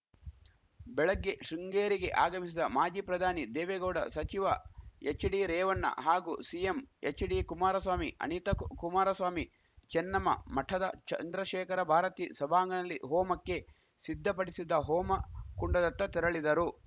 ಬೆಳಗ್ಗೆ ಶೃಂಗೇರಿಗೆ ಆಗಮಿಸಿದ ಮಾಜಿ ಪ್ರಧಾನಿ ದೇವೇಗೌಡ ಸಚಿವ ಎಚ್‌ಡಿರೇವಣ್ಣ ಹಾಗೂ ಸಿಎಂ ಎಚ್‌ಡಿ ಕುಮಾರಸ್ವಾಮಿ ಅಣಿತಾ ಕು ಕುಮಾರಸ್ವಾಮಿ ಚೆನ್ನಮ್ಮ ಮಠದ ಚಂದ್ರಶೇಖರ ಭಾರತೀ ಸಭಾಂಗಣಲ್ಲಿ ಹೋಮಕ್ಕೆ ಸಿದ್ಧಪಡಿಸಿದ್ದ ಹೋಮ ಕುಂಡದತ್ತ ತೆರಳಿದರು